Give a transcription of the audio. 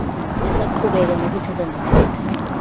esaqhubeka nokuthetha ndithetha